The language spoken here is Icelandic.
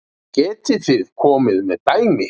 Getið þið komið með dæmi?